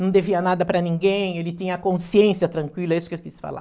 não devia nada para ninguém, ele tinha a consciência tranquila, é isso que eu quis falar.